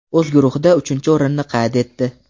o‘z guruhida uchinchi o‘rinni qayd etdi.